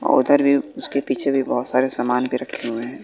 और उधर भी उसके पीछे भी बहोत सारे समान भी रखे हुए है।